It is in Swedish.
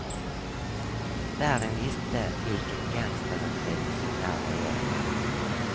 Världen visste vilken gangsterregim som där regerat.